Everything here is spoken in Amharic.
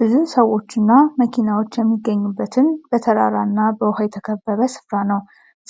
ብዙ ሰዎችና መኪናዎች የሚገኙበትን በተራራና በውሃ የተከበበ ስፍራ ነው።